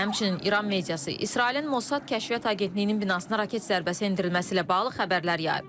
Həmçinin İran mediası İsrailin Mossad kəşfiyyat agentliyinin binasına raket zərbəsi endirilməsi ilə bağlı xəbərlər yayıb.